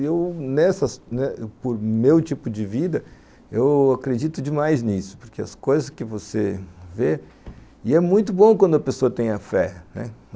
E eu, nessas, por meu tipo de vida, eu acredito demais nisso, porque as coisas que você vê, e é muito bom quando a pessoa tem a fé, né.